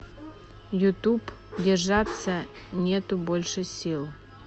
ютуб держаться нету больше сил